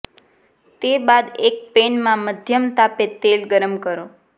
તે બાદ એક પેનમાં મધ્યમ તાપે તેલ ગરમ કરો